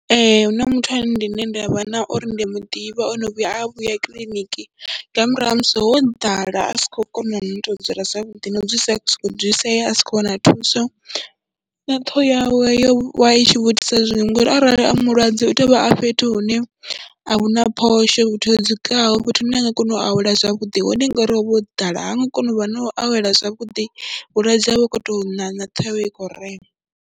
Ee, hu na muthu ane ndi ne nda vha na uri ndi a mu ḓivha o no vhuya a vhuya kiḽiniki nga murahu ha musi ho ḓala a si khou kona na tou dzula zwavhuḓi, no u dzulesea a sokou dzulisea a sa khou wana thuso na ṱhoho yawe yo vha i tshi vho itisa zwiṅwe ngori arali a mulwadze u tea u vha a fhethu hune a hu na phosho, fhethu ho dzikaho, fhethu hune a nga kona u awela zwavhuḓi, hone ngori ho vha ho ḓala ha nga kona u vha na u awela zwavhuḓi vhulwadze ha vha hu khou tou ṋaṋa, na ṱhoho yawe i khou rema.